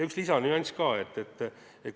Üks lisanüanss oli ka.